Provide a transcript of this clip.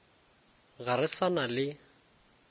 ga re sa na le